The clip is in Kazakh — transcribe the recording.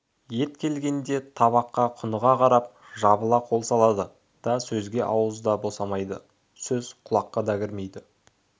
ет келгенде табаққа құныға қарап жабыла қол салады да сөзге ауыз да босамайды сөз құлаққа да кірмейді